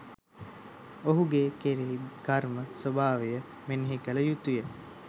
ඔහු ගේ කෙරෙහි කර්ම ස්වභාවය මෙනෙහි කළ යුතු ය.